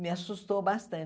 Me assustou bastante.